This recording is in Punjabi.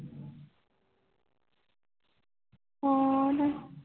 ਹੋਰ